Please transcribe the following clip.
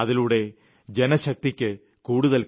ജനശക്തിയുടെ അനുഭവസാക്ഷ്യങ്ങൾ ബോധ്യപ്പെടുത്തിക്കൊണ്ടിരിക്കണം